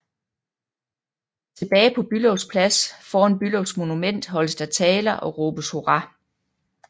Tilbage på Bülows Plads foran Bülows Monument holdes der taler og råbes hurra